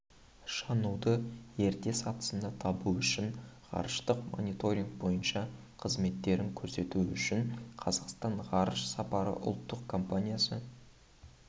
жануды ерте сатысында табу үшін ғарыштық мониторинг бойынша қызметтерін көрсету үшін қазақстан ғарыш сапары ұлттық компаниясы